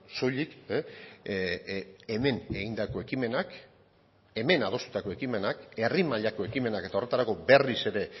soilik hemen egindako ekimenak hemen adostutako ekimenak herri mailako ekimenak eta horretarako berriz ere